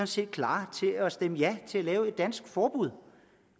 set er klar til at stemme ja til at lave et dansk forbud